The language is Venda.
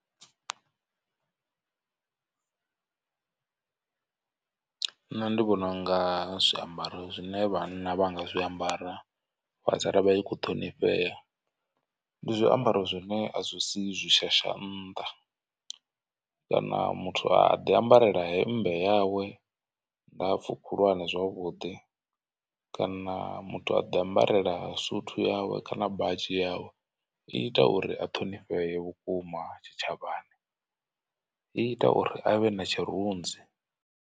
Nṋe ndi vhona unga zwiambaro zwine vhanna vha nga zwiambara vha sala vha tshi kho ṱhonifhea ndi zwiambaro zwine a zwi sii zwi shasha nnḓa. Kana muthu a ḓi ambarela hemmbe yawe ndapfu khulwane zwavhuḓi. Kana muthu a ḓi ambarela suthu yawe kana badzhi yawe i ita uri a ṱhonifhee vhukuma tshitshavhani i ita uri avhe na tshirunzi.